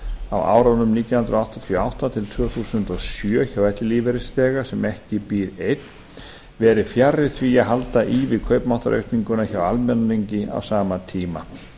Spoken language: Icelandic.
á árunum nítján hundruð áttatíu og átta til tvö þúsund og sjö hjá ellilífeyrisþega sem ekki býr einn verið fjarri því að halda í við kaupmáttaraukninguna hjá almenningi á sama tíma